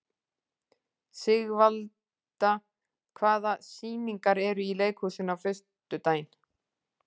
Sigvalda, hvaða sýningar eru í leikhúsinu á föstudaginn?